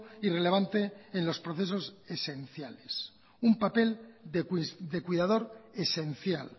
y relevante en los procesos esenciales un papel de cuidador esencial